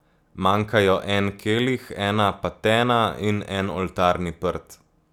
Manjkajo en kelih, ena patena in en oltarni prt.